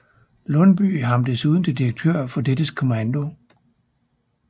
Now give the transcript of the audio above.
Lundbye ham desuden til direktør for dettes kommando